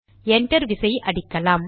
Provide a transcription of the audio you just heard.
enter விசையை அடிக்கலாம்